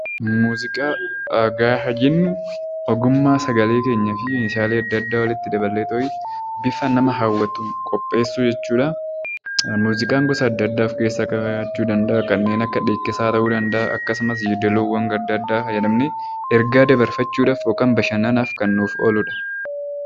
Muuziqaa gaafa jennu ogummaa sagalee keenyaa fi meeshaalee adda addaa walitti daballeetooyi bifa nama hawwatuun qopheessuu jechuu dha. Muuziqaan gosa adda addaa of keessaa qabaachuu danda'a. Kanneen akka dhiikkisaa ta'uu danda'aa. Akkasumas yeedaloowwan adda addaa fayyadamnee ergaa dabarfachuu dhaaf yookaan bashannanaaf kan nuuf oolu dha.